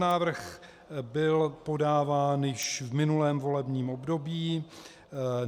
Návrh byl podáván již v minulém volebním období.